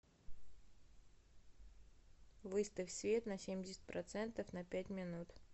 выставь свет на семьдесят процентов на пять минут